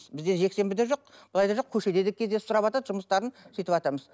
бізде жексенбі де жоқ былай да жоқ көшеде де кездесіп сұраватады жұмыстарын сүйтіватамыз